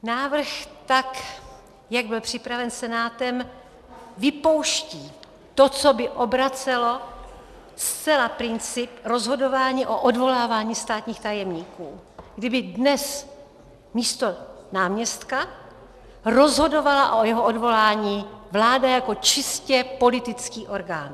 Návrh, tak jak byl připraven Senátem, vypouští to, co by obracelo zcela princip rozhodování o odvolávání státních tajemníků, kdyby dnes místo náměstka rozhodovala o jeho odvolání vláda jako čistě politický orgán.